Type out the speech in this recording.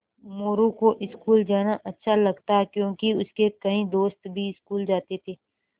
मोरू को स्कूल जाना अच्छा लगता क्योंकि उसके कई दोस्त भी स्कूल जाते थे